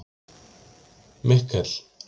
Mikkel